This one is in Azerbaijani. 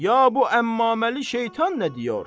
Ya bu əmmaməli şeytan nə deyir?